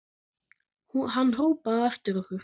Hann hrópaði á eftir okkur.